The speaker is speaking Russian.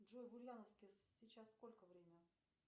джой в ульяновске сейчас сколько время